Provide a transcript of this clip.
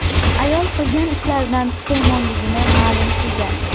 Ayol qilgan ishlaridan pushaymonligini ma’lum qilgan.